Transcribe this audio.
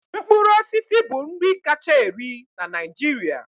mkpụrụ osisi bụ nri kacha eri na Naịjirịa.